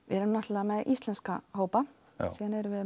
erum náttúrulega með íslenska hópa svo erum við